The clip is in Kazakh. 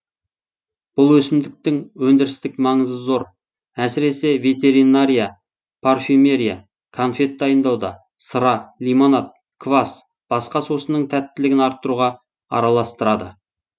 бүл есімдіктің өндірістік маңызы зор әсіресе ветеринария парфюмерия конфет дайындауда сыра лимонад квасс басқа сусынның тәттілігін арттыруға араластырады